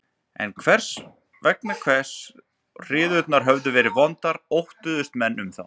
En vegna þess hve hryðjurnar höfðu verið vondar óttuðust menn um þá.